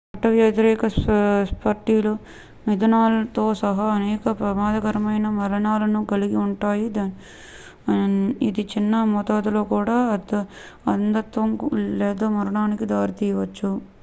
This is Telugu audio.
చట్టవ్యతిరేక స్పిరిట్లు మిథనాల్ తో సహా అనేక ప్రమాదకరమైన మలినాలను కలిగి ఉంటాయి ఇది చిన్న మోతాదుల్లో కూడా అంధత్వం లేదా మరణానికి దారి తీయవచ్చు